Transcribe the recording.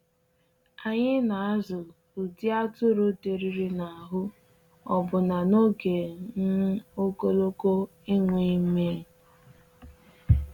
Anyị na-azụ ụdị atụrụ dịrịrị n’ahụ́ ọbụna n’oge um ogologo enweghị nmiri.